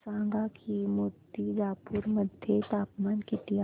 सांगा की मुर्तिजापूर मध्ये तापमान किती आहे